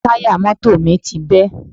Táyà mọ́tò mi ti bẹ́